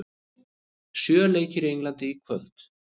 Sjö leikir í Englandi í kvöld